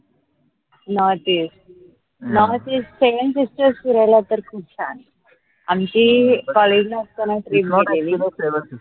northeast northeastsevensisters फिरायला तर खूप छान ए आमची college ला असतांना trip गेलेली